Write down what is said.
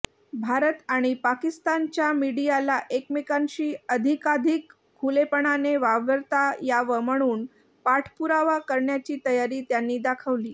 भारत आणि पाकिस्तानच्या मीडियाला एकमेकांशी अधिकाधिक खुलेपणाने वावरता यावं म्हणून पाठपुरावा करण्याची तयारी त्यांनी दाखवली